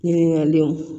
Ɲininkaliw